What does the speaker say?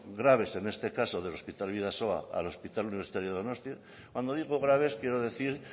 graves en este caso del hospital bidasoa al hospital universitario de donostia cuando digo graves quiero decir